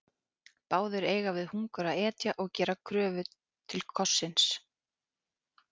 Báðir eiga við hungur að etja og gera kröfu til kossins.